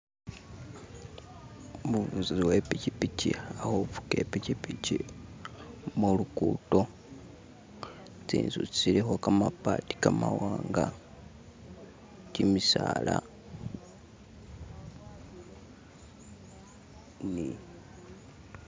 umubuzi uwepikipiki alikhufuga ipikipiki khulugudo tsinzu tsilikho kamabati kamawanga bisaala ni.